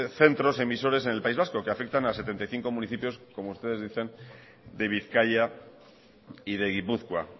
centros emisores en el país vasco que afectan a setenta y cinco municipios como ustedes decían de bizkaia y de gipuzkoa